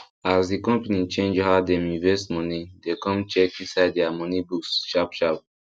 as the company change how dem invest money dem come check inside their money books sharpsharp